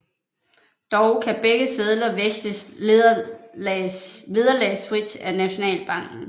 Dog kan begge sedler veksles vederlagsfrit af Nationalbanken